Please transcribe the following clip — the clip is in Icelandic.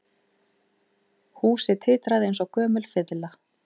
Húsið titraði eins og gömul fiðla